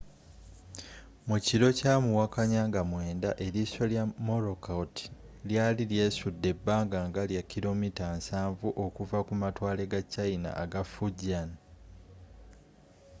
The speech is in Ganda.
mukiro kya muwakanya nga 9 eriiso lya morakot lyali lyesudde ebbanga nga lya kilomita 70 okuva ku matwale ga china aga fujian